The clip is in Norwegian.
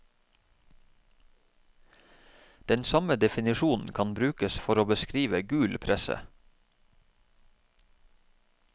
Den samme definisjon kan brukes for å beskrive gul presse.